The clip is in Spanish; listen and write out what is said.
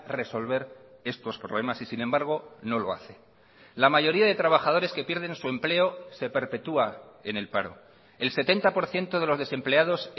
resolver estos problemas y sin embargo no lo hace la mayoría de trabajadores que pierden su empleo se perpetúa en el paro el setenta por ciento de los desempleados